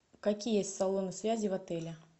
какие есть салоны связи в отеле